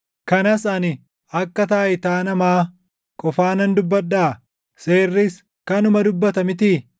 Kanas ani akka taayitaa namaa qofaanan dubbadhaa? Seerris kanuma dubbata mitii?